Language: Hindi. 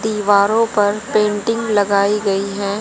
दीवारों पर पेंटिंग लगाई गई है।